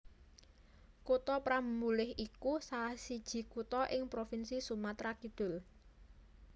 Kutha Prabumulih iku salah siji kutha ing Provinsi Sumatra Kidul